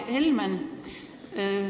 Hea Helmen!